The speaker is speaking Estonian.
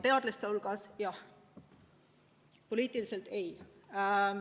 Teadlaste hulgas jah, poliitiliselt mitte.